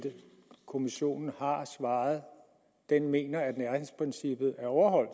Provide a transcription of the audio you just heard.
det kommissionen har svaret den mener at nærhedsprincippet er overholdt